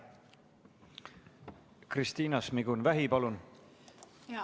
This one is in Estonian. Kristiina Šmigun-Vähi, palun!